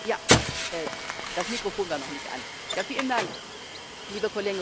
Liebe Kollegin Grossetête! Es ist schon gesagt worden, wir wissen das auch Die Mitgliedstaaten sind gespalten.